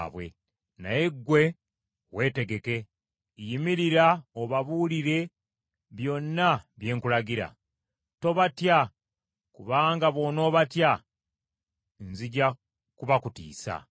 “Naye ggwe weetegeke! Yimirira obabuulire byonna bye nkulagira. Tobatya kubanga bw’onoobatya nzija kubakutiisa.